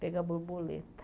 Pegar borboleta.